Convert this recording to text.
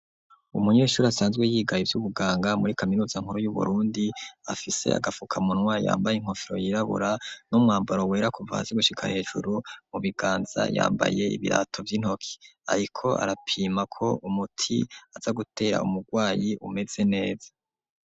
Umunyeshuri asanzwe yigaye ivy'ubuganga muri kaminuza nkuru yu Burundi afise agafukamunwa yambaye inkofero yirabura n'umwambaro wera kuva haze gushika hejuru mu biganza yambaye ibirato vy'intoki, ariko arapima ko umuti aza gutera umurwayi umeze neza.